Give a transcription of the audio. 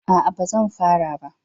A'a ba zan fara ba